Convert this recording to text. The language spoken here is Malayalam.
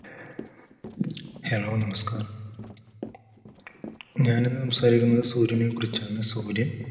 hello നമസ്കാരം ഞാൻ ഇന്ന് സംസാരിക്കുന്നത് സൂര്യനെ കുറിച്ചാണ്. സൂര്യൻ,